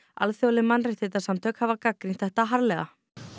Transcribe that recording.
alþjóðleg mannréttindasamtök hafa gagnrýnt þetta harðlega